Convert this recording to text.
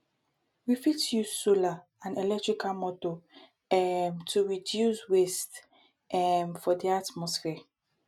we fit use solar and electrical motor um to fit reduce waste um for di atmosphere